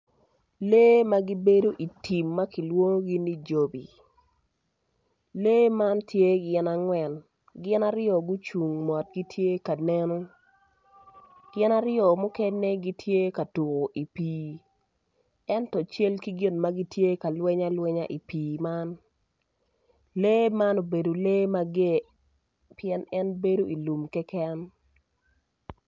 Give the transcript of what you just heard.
Lee magibedo i tim makilwongogi ni jobi, lee man tye gin angwen, gi aryo gucung mot gitye ka neno, gin aryo mukene gitye ka tuko i pi. ento cal ki gin ma gitye ka lweny alwenya i pi man, lee man obedo lee mager, pien en bedo i lum keken.